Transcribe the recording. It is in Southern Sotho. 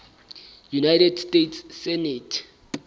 united states senate